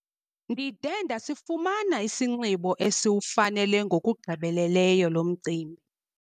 Ndide ndasifumana isinxibo esiwufanele ngokugqibeleleyo lo mcimbi.